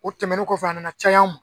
U tɛmɛnen kɔfɛ a nana cay'an ma.